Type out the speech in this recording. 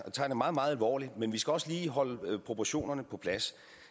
tager det meget meget alvorligt men vi skal også lige holde proportionerne på plads